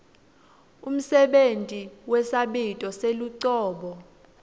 umsebenti wesabito selucobo